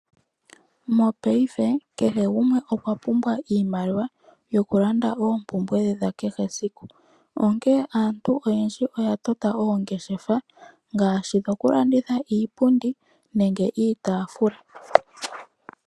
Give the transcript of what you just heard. Mopaife kehe gumwe okwa pumbwa iimaliwa yokulanda oompumbwe dhe dha kehe esiku. Onkene aantu oyendji oya tota oongeshefa ngaashi dhokulanditha iipundi nenge iitaafula.